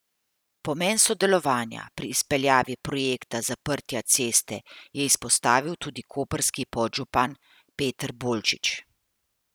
Pomen sodelovanja pri izpeljavi projekta zaprtja ceste je izpostavil tudi koprski podžupan Peter Bolčič.